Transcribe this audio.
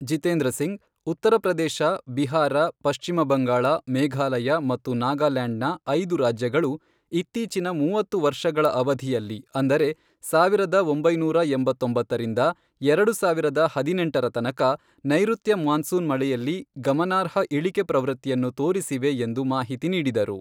ಜಿತೇಂದ್ರ ಸಿಂಗ್, ಉತ್ತರ ಪ್ರದೇಶ, ಬಿಹಾರ, ಪಶ್ಚಿಮ ಬಂಗಾಳ, ಮೇಘಾಲಯ ಮತ್ತು ನಾಗಾಲ್ಯಾಂಡ್ನ ಐದು ರಾಜ್ಯಗಳು ಇತ್ತೀಚಿನ ಮೂವತ್ತು ವರ್ಷಗಳ ಅವಧಿಯಲ್ಲಿ ಅಂದರೆ ಸಾವಿರದ ಒಂಬೈನೂರ ಎಂಬತ್ತೊಂಬರಿಂದ ರಿಂದ ಎರಡು ಸಾವಿರದ ಹದಿನೆಂಟರ ತನಕ, ನೈಋತ್ಯ ಮಾನ್ಸೂನ್ ಮಳೆಯಲ್ಲಿಗಮನಾರ್ಹ ಇಳಿಕೆ ಪ್ರವೃತ್ತಿಯನ್ನು ತೋರಿಸಿವೆ ಎಂದು ಮಾಹಿತಿ ನೀಡಿದರು.